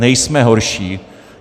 Nejsme horší.